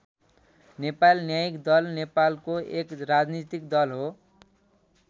नेपाल न्यायिक दल नेपालको एक राजनीतिक दल हो।